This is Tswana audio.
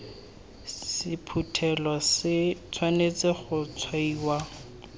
sephuthelo se tshwanetse go tshwaiwa